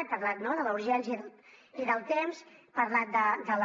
he parlat de la urgència i del temps he parlat de